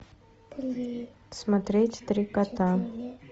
смотреть три кота